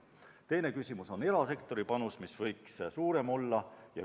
Teine küsimus on erasektori panus, mis võiks suurem olla.